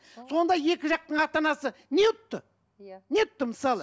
сонда екі жақтың ата анасы не ұтты иә не ұтты мысалы